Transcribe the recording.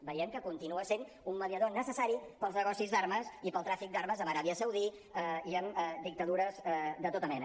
veiem que continua sent un mediador necessari per als negocis d’armes i per al tràfic d’armes amb l’aràbia saudita i amb dictadures de tota mena